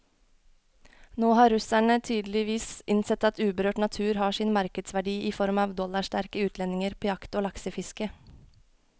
Nå har russerne tydeligvis innsett at uberørt natur har sin markedsverdi i form av dollarsterke utlendinger på jakt og laksefiske.